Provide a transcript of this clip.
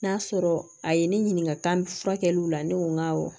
N'a sɔrɔ a ye ne ɲininka furakɛliw la ne ko n ko awɔ